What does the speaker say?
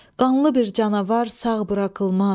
Qanlı bir canavar sağ buraxılmaz.